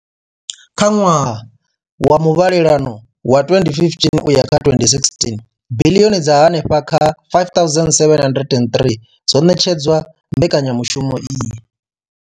Kha ṅwaha wa muvhalelano wa 2015 uya kha 2016, biḽioni dza henefha kha R5 703 dzo ṋetshedzwa mbekanyamushumo iyi.